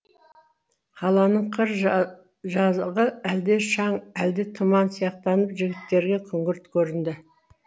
қаланың қыр жағы әлде шаң әлде тұман сияқтанып жігіттерге күңгірт көрінді